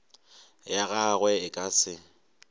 ya gagwe e ka se